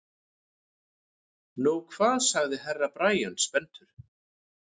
Nú hvað sagði Herra Brian spenntur.